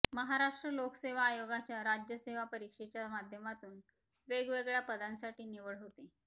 महाराष्ट्र लोकसेवा आयोगाच्या राज्य सेवा परीक्षेच्या माध्यमातून वेगवेगळ्या पदांसाठी निवड होते